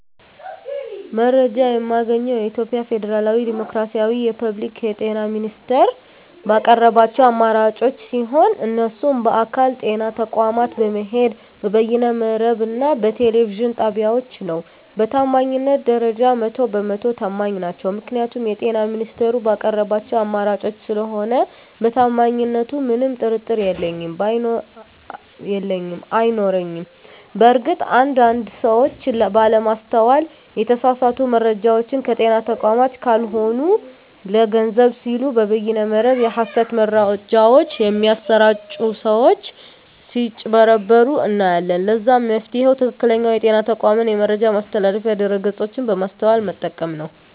መረጃ የማገኘዉ የኢትዮጵያ ፌደራላዊ ዲሞክራሲያዊ የፐብሊክ የጤና ሚኒስቴር ባቀረባቸዉ አማራጮች ሲሆን እነሱም በአካል (ጤና ተቋማት በመሄድ)፣ በበይነ መረብ እና በቴሌቪዥን ጣቢያወች ነዉ። በታማኝነት ደረጃ 100 በ 100 ተማኝ ናቸዉ ምክንያቱም የጤና ሚኒስቴሩ ባቀረባቸዉ አማራጮች ስለሆነ በታማኝነቱ ምንም ጥርጥር የለኝም አይኖረኝም። በእርግጥ አንድ አንድ ሰወች ባለማስተዋል የተሳሳቱ መረጃወችን ከጤና ተቋማት ካልሆኑ ለገንዘብ ሲሉ በበይነ መረብ የሀሰት መረጃወች በሚያሰራጪ ሰወች ስጭበረበሩ እናያለን ለዛም መፍትሄዉ ትክክለኛዉ የጤና ተቋሙን የመረጃ ማስተላለፊያ ድረገፆች በማስተዋል መጠቀም ነዉ።